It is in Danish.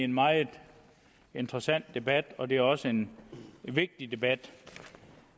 en meget interessant debat og det er også en vigtig debat